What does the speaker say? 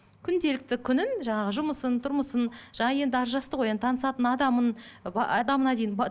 күнделікті күнін жаңағы жұмысын тұрмысын жаңа енді ажырасты ғой енді танысатын адамын ыыы адамына дейін